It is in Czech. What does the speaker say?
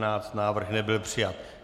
Návrh nebyl přijat.